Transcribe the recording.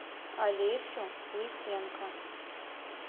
олесю лысенко